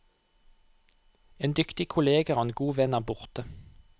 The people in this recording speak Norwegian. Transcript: En dyktig kollega og en god venn er borte.